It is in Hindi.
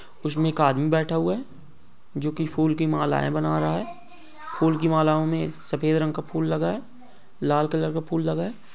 उसमें एक आदमी बैठा हुआ है जो की फूल की मालाएँ बना रहा है फूल की मालाओ में सफेद रंग का फूल लगा है लाल कलर का फूल लगा है।